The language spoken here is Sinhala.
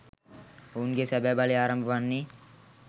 ඔවුන්ගේ සැබැ බලය ආරම්භ වන්නේ